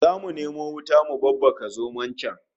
Zamu nemo wuta mu babbaka zomon can